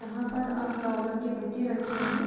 यहाँ पर अं फ्लावर के बुके रखे हैं।